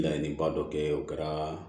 Laɲiniba dɔ kɛ o kɛra